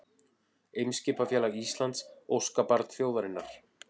Eimskipafélag Íslands, óskabarn þjóðarinnar